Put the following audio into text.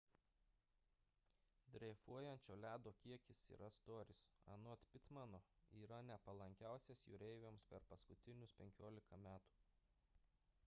dreifuojančio ledo kiekis ir storis anot pittmano yra nepalankiausias jūreiviams per paskutinius 15 metų